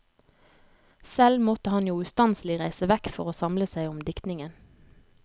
Selv måtte han jo ustanselig reise vekk for å samle seg om diktningen.